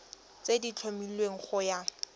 tse di tlhomilweng go ya